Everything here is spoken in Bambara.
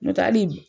N'o tɛ hali